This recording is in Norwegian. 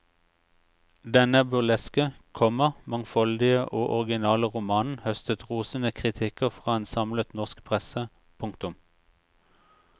Denne burleske, komma mangfoldige og originale romanen høstet rosende kritikker fra en samlet norsk presse. punktum